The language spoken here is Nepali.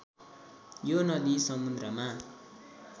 यो नदी समुन्द्रमा